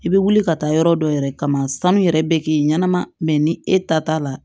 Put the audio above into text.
I bɛ wuli ka taa yɔrɔ dɔ yɛrɛ kama sanu yɛrɛ bɛ k'i ɲɛnama ni e ta t'a la